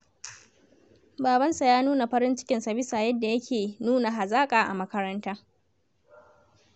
Babansa ya nuna farin cikinsa bisa yadda yake nuna hazaƙa a makaranta.